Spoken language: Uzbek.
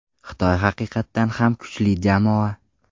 Xitoy haqiqatan ham kuchli jamoa.